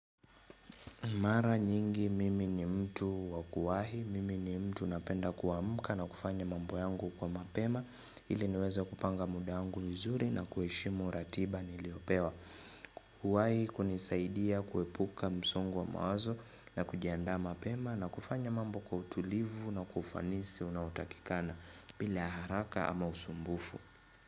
Mara nyingi mimi ni mtu wa kuwahi, mimi ni mtu napenda kuamka na kufanya mambo yangu kwa mapema, ili niweze kupanga muda yangu vizuri na kuheshimu ratiba niliyopewa. Kuwahi hunisaidia kuepuka msongo wa mawazo na kujianda mapema na kufanya mambo kwa utulivu na kwa ufanisi unaotakikana bila haraka ama usumbufu.